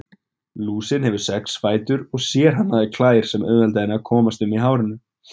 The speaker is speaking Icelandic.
Lúsin hefur sex fætur og sérhannaðar klær sem auðvelda henni að komast um í hárinu.